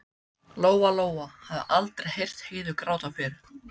Lóa Lóa hafði aldrei heyrt Heiðu gráta fyrr.